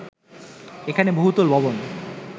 এখানে বহুতল ভবন